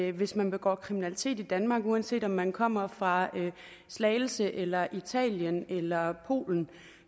at hvis man begår kriminalitet i danmark uanset om man kommer fra slagelse eller italien eller polen